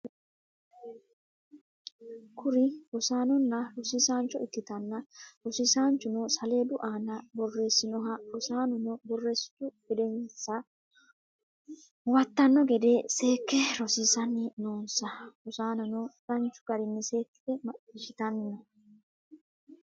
Kuri rossanona rossisancho ikitana rosisanchuno saledu ana borressinoha rossanono borresstu gedenisa huwatano gede seke rosisani noonisa. rossanono danichu garinni seekite machishshtani no.